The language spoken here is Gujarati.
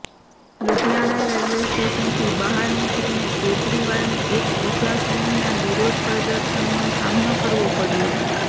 લુધિયાણા રેલવે સ્ટેશનથી બહાર નીકળીને કેજરીવાલને એક બીજા સમૂહના વિરોધ પ્રદર્શનનો સામનો કરવો પડ્યો